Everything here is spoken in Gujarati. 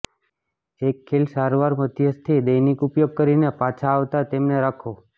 એક ખીલ સારવાર મધ્યસ્થી દૈનિક ઉપયોગ કરીને પાછા આવતા તેમને રાખો